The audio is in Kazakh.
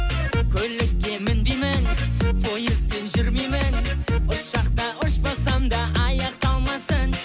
көлікке мінбеймін пойызбен жүрмеймін ұшақта ұшпасам да аяқ талмасын